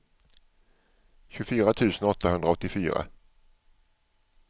tjugofyra tusen åttahundraåttiofyra